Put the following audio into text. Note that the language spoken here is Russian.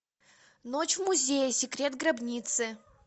ночь в музее секрет гробницы